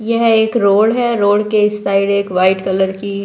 यह एक रोड हैं रोड के इस साइड एक वाइट कलर की--